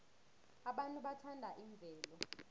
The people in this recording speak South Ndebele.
abantu bathanda imvelo